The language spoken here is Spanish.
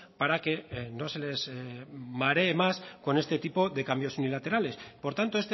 para que no se les maree más con este tipo de cambios unilaterales por tanto